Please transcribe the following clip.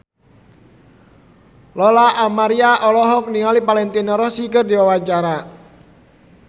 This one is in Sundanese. Lola Amaria olohok ningali Valentino Rossi keur diwawancara